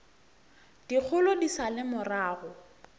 dikgolo di sa le morago